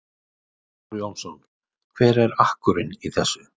Þór Jónsson: Hver er akkurinn í þessu?